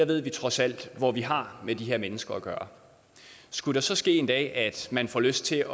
ved trods alt hvor vi har de her mennesker skulle det så ske en dag at man får lyst til